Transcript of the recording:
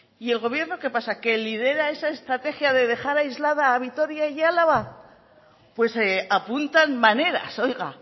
y el gobierno qué pasa que lidera esa estrategia de dejar aislada a vitoria y a álava pues apuntan maneras oiga